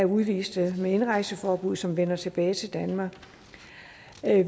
udviste med indrejseforbud som vender tilbage til danmark